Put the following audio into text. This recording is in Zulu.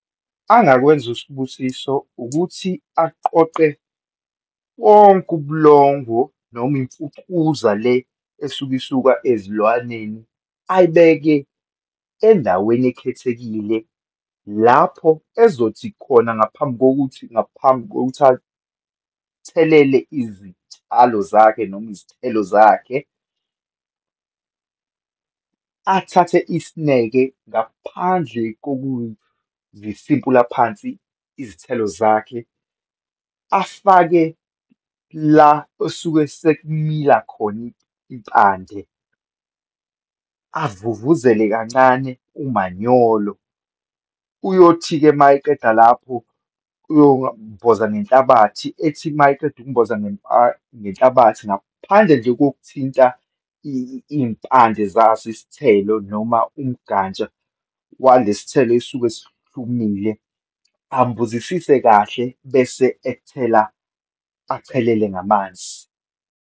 Angakwenza uSibusiso ukuthi aqoqe wonke ubulongo noma imfucuza le esuke isuka ezilwaneni, ayibeke endaweni ekhethekile lapho ezothi khona, ngaphambi kokuthi, ngaphambi kokuthi athelele izitshalo zakhe noma izithelo zakhe, athathe isineke ngaphandle kokuzisimpula phansi izithelo zakhe, afake la esuke sekumila khona impande, avuvuzela kancane umanyolo. Uyothi-ke uma eqeda lapho uyomboza ngenhlabathi, ethi uma eqeda ukumboza ngenhlabathi, ngaphandle nje kokuthinta iyimpande zaso isithelo noma igantsha walesithelo esuke sihlumile, ambozisise kahle, bese ethela, achelele ngamanzi.